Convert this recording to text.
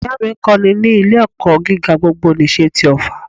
Ìyá à mí ń kọ́ni ní ilé ẹ̀kọ́ gíga gbogbo nìse ti òffà